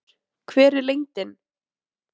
Unnur, hver er lendingin?